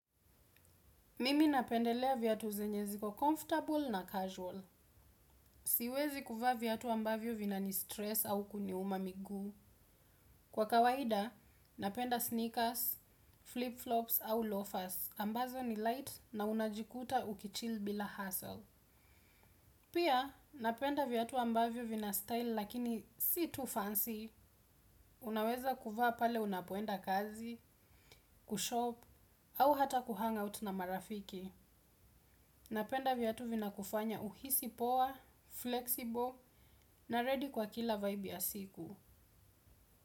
Mimi napendelea viatu zenye ziko comfortable na casual. Siwezi kuvaa viatu ambavyo vinanistress au kuniuma miguu. Kwa kawaida, napenda sneakers, flip-flops au loafers. Ambazo ni light na unajikuta ukichill bila hussle. Pia, napenda viatu ambavyo vina style lakini si too fancy. Unaweza kuvaa pale unapoenda kazi, kushop, au hata kuhangout na marafiki. Napenda viatu vinakufanya uhisi poa, flexible na ready kwa kila vibe ya siku.